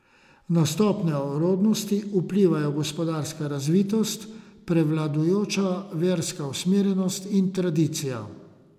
Na stopnjo rodnosti vplivajo gospodarska razvitost, prevladujoča verska usmerjenost in tradicija.